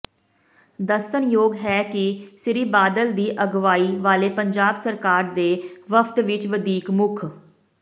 ਦੱਸਣਯੋਗ ਹੈ ਕਿ ਸ੍ਰੀ ਬਾਦਲ ਦੀ ਅਗਵਾਈ ਵਾਲੇ ਪੰਜਾਬ ਸਰਕਾਰ ਦੇ ਵਫ਼ਦ ਵਿੱਚ ਵਧੀਕ ਮੁੱਖ